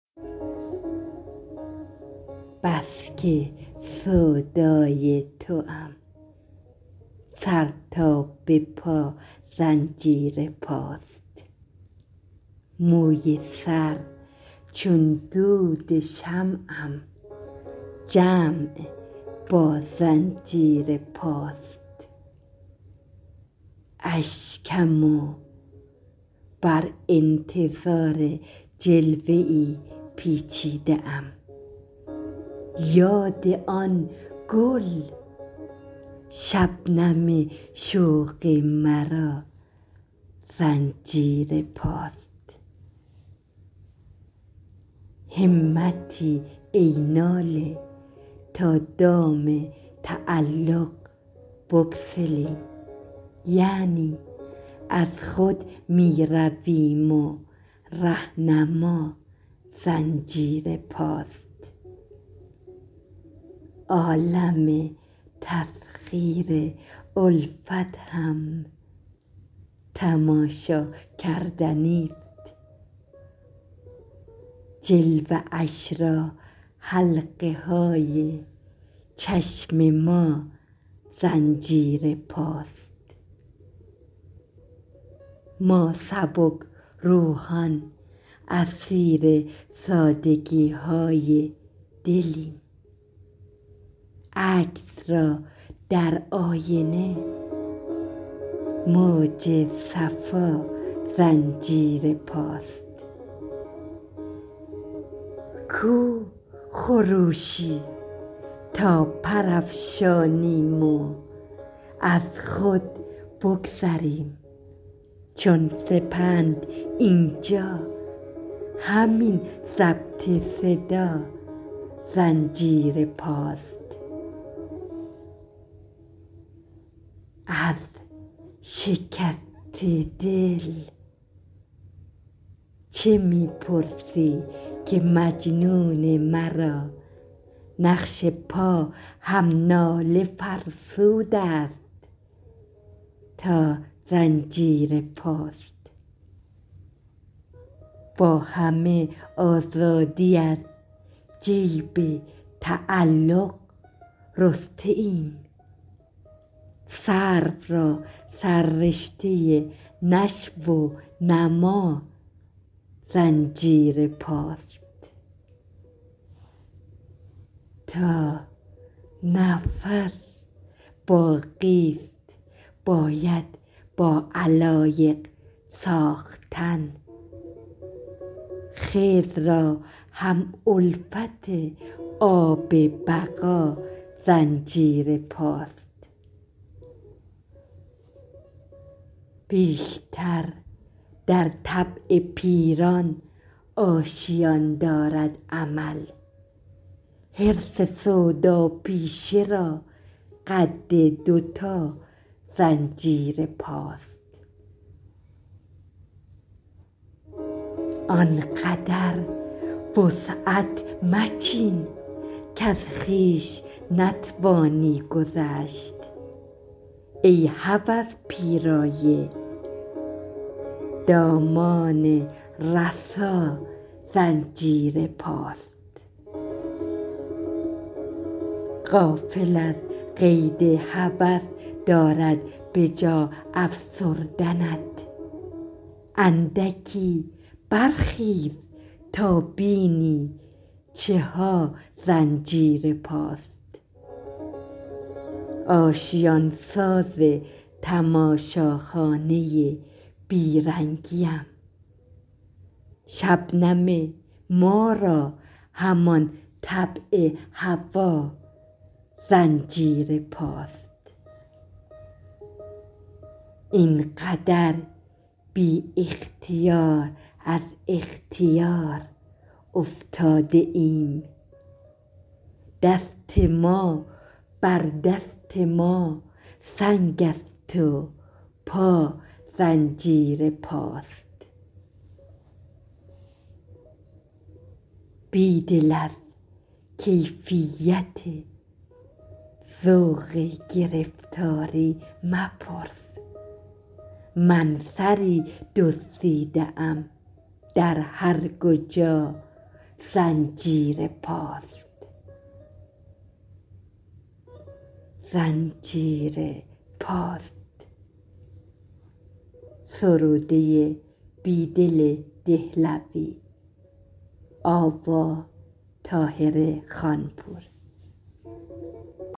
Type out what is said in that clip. بسکه سودای توام سرتا به پا زنجیر پاست موی سر چون دود شمعم جمع با زنجیر پاست اشکم و بر انتظار جلوه ای پیچیده ام یاد آن گل شبنم شوق مرا زنجیرپاست همتی ای ناله تا دام تعلق بگسلیم یعنی از خود می رویم و رهنما زنجیر پاست عالم تسخیر الفت هم تماشاکردنی ست جلوه اش را حلقه های چشم ما زنجیر پاست ما سبکروحان اسیر سادگیهای دلیم عکس را درآینه موج صفا زنجیرپاست کو خروشی تا پر افشانیم و از خود بگذریم چون سپند اینجا همین ضبط صدا زنجیرپاست از شکست دل چه می پرسی که مجنون مرا نقش پا هم ناله فرسود است تا زنجیرپاست با همه آزادی از جیب تعلق رسته ایم سرو را سررشته نشوو نما زنجیرپاست تا نفس باقی است باید با علایق ساختن خضررا هم الفت آب بقا زنجیرپاست بیشتر در طبع پیران آشیان دارد امل حرص سوداپیشه را قد دوتا زنجیر پاست آنقدر وسعت مچین کز خویش نتوانی گذشت ای هوس پیرایه دامان رسا زنجیر پاست غافل از قید هوس دارد به جا افسردنت اندکی برخیزتا بینی چها زنجیرپاست آشیان ساز تماشاخانه بیرنگی ام شبنم ما را همان طبع هوا زنجیرپاست اینقدر بی اختیار از اختیار افتاده ایم دست ما بر دست ماسنگ است و پا زنجیر پاست بیدل ازکیفیت ذوق گرفتاری مپرس من سری دزدیده ام در هرکجا زنجیر پاست